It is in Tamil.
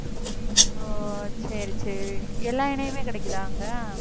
ஓ, சரி, சரி. எல்லா எண்ணெயுமே கிடைக்குதா அங்க